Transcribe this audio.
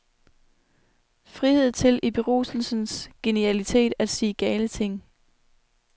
Frihed til i beruselsens genialitet at sige gale ting.